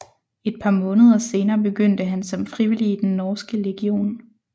Et par måneder senere begyndte han som frivillig i den Norske legion